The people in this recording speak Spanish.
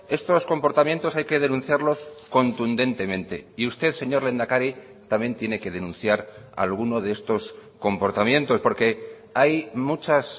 estos comportamientos hay que denunciarlos contundentemente y usted señor lehendakari también tiene que denunciar alguno de estos comportamientos porque hay muchas